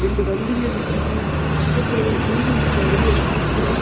ரெண்டு வண்டிங்க நிக்கிது பக்கத்துல பில்டிங்ஸ் நறைய இருக்கு.